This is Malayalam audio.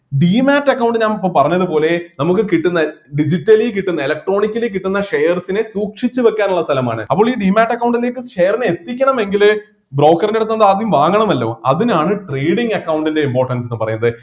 demate account ഞാൻ ഇപ്പൊ പറഞ്ഞതുപോലെ നമുക്ക് കിട്ടുന്ന digitally കിട്ടുന്ന electronically കിട്ടുന്ന shares നെ സൂക്ഷിച്ചുവെക്കാനുള്ള സ്ഥലമാണ് അപ്പോൾ ഈ demate account ലേക്ക് share നെ എത്തിക്കണമെങ്കില് broker ൻ്റെ അടുത്ത് നിന്ന് ആദ്യം വാങ്ങണമല്ലോ അതിനാണ് trading account ൻ്റെ importance എന്ന് പറയുന്നത്